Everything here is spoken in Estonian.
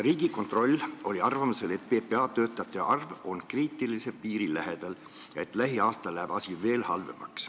Riigikontroll oli seisukohal, et PPA töötajate arv on kriitilise piiri lähedal ja lähiaastail läheb asi veel halvemaks.